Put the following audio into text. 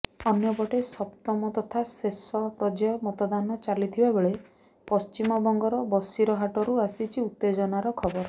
ଅନ୍ୟପଟେ ସପ୍ତମ ତଥା ଶେଷ ପର୍ଯ୍ୟାୟ ମତଦାନ ଚାଲିଥିବା ବେଳେ ପଶ୍ଚିମବଂଗର ବସିରହାଟରୁ ଆସିଛି ଉତେଜନାର ଖବର